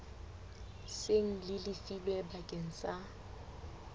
seng le lefilwe bakeng sa